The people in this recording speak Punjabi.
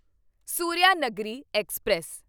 ਸੂਰਿਆਨਗਰੀ ਐਕਸਪ੍ਰੈਸ